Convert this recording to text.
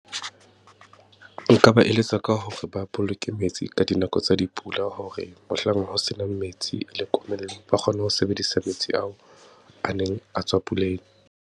Nka ba eletsa ka hore ba boloke metsi ka dinako tsa dipula, hore mohlang ho senang metsi le komello, ba kgone ho sebedisa metsi ao, a neng a tswa puleng.